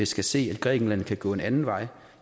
skal se at grækenland kan gå en anden vej